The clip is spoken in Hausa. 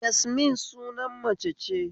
Yasmin sunan mace ce